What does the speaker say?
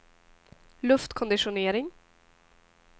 luftkonditionering